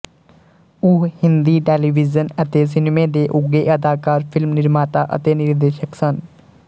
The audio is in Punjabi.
ਉਹ ਹਿੰਦੀ ਟੈਲੀਵਿਜ਼ਨ ਅਤੇ ਸਿਨੇਮੇ ਦੇ ਉੱਘੇ ਅਦਾਕਾਰ ਫ਼ਿਲਮ ਨਿਰਮਾਤਾ ਅਤੇ ਨਿਰਦੇਸ਼ਕ ਸਨ